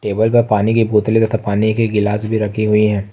Table पे पानी की बोतलें तथा पानी के गिलास भी रखी हुई हैं।